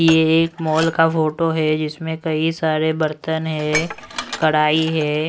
ये एक मॉल का फोटो है जिसमें कई सारे बर्तन है कढ़ाई है।